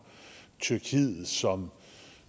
tyrkiet som